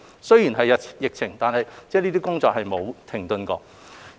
雖然有疫情，但這些工作並沒有停頓。